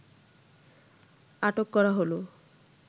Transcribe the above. আটক করা হল